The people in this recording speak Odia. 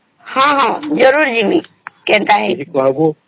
ହଁ ଜରୁର ଜିମି ହଁ ଜରୁର ଜିମି କେଣ୍ଟ ହେଇଚି